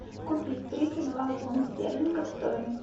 купить тридцать два фунта стерлингов стоимость